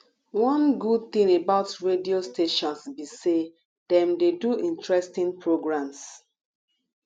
one good thing about radio stations be say dem dey do interesting programs